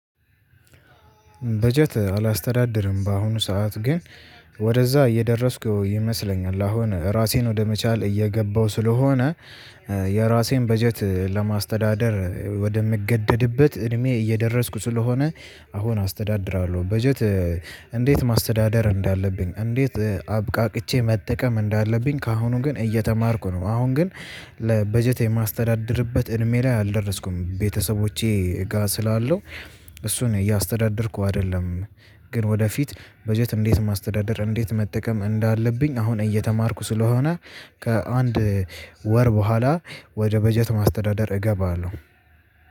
በጀት አላስተዳድርም በአሁኑ ሰዓት ግን ወደዛ እየደረስኩ ይመስለኛል አሁን ራሴን ወደመቻል እየገባሁ ስለሆነ የራሴን በጀት ለማስተዳደር ወደምገደድበት እድሜ እየደረስኩ ስለሆነ አሁን አስተዳድራለሁ በጀት። እንዴት ማስተዳደር እንዳለብኝ እንዴት አብቃቅቼ መጠቀም እንዳለብኝ ከአሁኑ ግን እየተማርኩ ነው። አሁን ግን ለበጀት የማስተዳድርበት እድሜ ላይ አልደረስኩም። ቤተሰቦቼ ጋር ስላለው እሱን እያስተዳደርኩ አይደለም። ግን ወደፊት በጀት እንዴት ማስተዳደር እንዴት መጠቀም እንዳለብኝ አሁን እየተማርኩ ስለሆነ። ከአንድ ወር በኋላ ወደ በጀት ማስተዳደር እገባለሁ